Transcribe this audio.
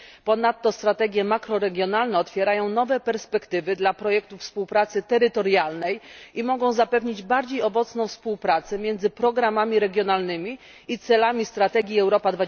Ponadto strategie makroregionalne otwierają nowe perspektywy dla projektów współpracy terytorialnej i mogą zapewnić bardziej owocną współpracę między programami regionalnymi i celami strategii Europa